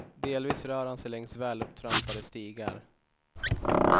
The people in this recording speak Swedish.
Delvis rör han sig längs välupptrampade stigar.